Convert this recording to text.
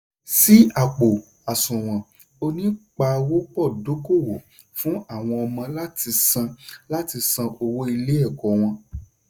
ṣí àpò-àsùwọ̀n onípawọ́pọ̀dókòwò fún àwọn ọmọ láti san láti san owó ilé-ẹ̀kọ́ wọn.